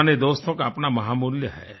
पुराने दोस्तों का अपना महामूल्य है